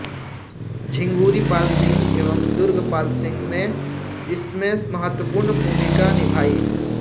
झिंगुरीपाल सिंह एवं दुर्गपाल सिंह ने इसमें महत्त्वपूर्ण भूमिका निभाई